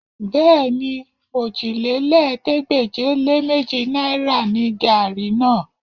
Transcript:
Bẹ́ẹ̀ni, òjìlélẹ́ẹ̀ẹ́dégbèje-lé-méjì náìrà gaàrí náà